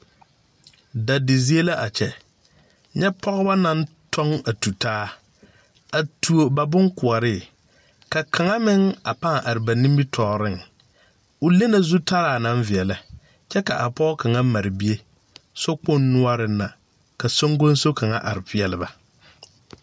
Dadi zie la a kyɛ nyɛ pɔgeba naŋ tɔŋ a tutaa a tuo ba boŋkoɔre ka kaŋa meŋ a pãã are ba nimitɔɔreŋ o le na zutara naŋ veɛlɛ kyɛ ka a pɔge kaŋa mare bie sokpoŋ noɔreŋ na ka soŋguso kaŋa are peɛle ba.